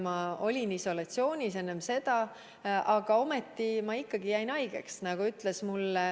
Ma olin isolatsioonis enne seda, aga ometi ma jäin haigeks.